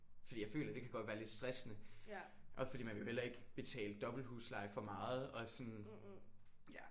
Fordi jeg føler det kan godt være lidt stressende også fordi man vil jo heller ikke betale dobbelt husleje for meget og sådan ja